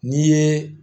N'i ye